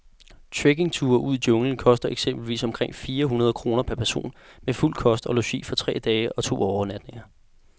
Trekkingture ud i junglen koster eksempelvis omkring fire hundrede kroner per person med fuld kost og logi for tre dage og to overnatninger.